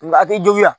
Nga a tɛ juguya